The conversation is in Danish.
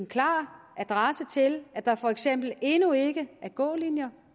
klar adresse til at der for eksempel endnu ikke er gålinjer